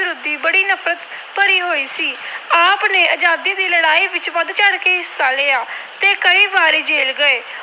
ਬੜੀ ਨਫਰਤ ਭਰੀ ਹੋਈ ਸੀ। ਆਪ ਨੇ ਆਜਾਦੀ ਦੀ ਲੜਾਈ ਵਿੱਚ ਵੱਧ ਚੜ੍ਹ ਕੇ ਹਿੱਸਾ ਲਿਆ ਤੇ ਕਈ ਵਾਰੀ ਜੇਲ੍ਹ ਗਏ।